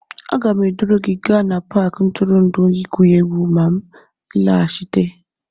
Aga m eduru gị gaa n'Paakị ntụrụndụ igwu egwu ma m nlaghachite